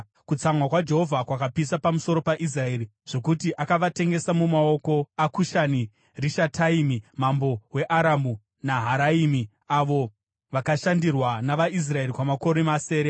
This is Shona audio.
Kutsamwa kwaJehovha kwakapisa pamusoro paIsraeri zvokuti akavatengesa mumaoko aKushani-Rishataimi mambo weAramu Naharaimu, avo vakashandirwa navaIsraeri kwamakore masere.